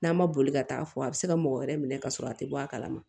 N'a ma boli ka taa fɔ a bɛ se ka mɔgɔ wɛrɛ minɛ ka sɔrɔ a tɛ bɔ a kalama